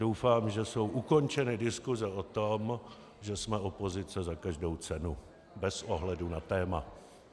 Doufám, že jsou ukončeny diskuse o tom, že jsme opozice za každou cenu, bez ohledu na téma.